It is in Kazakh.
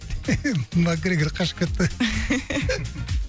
макгрегор қашып кетті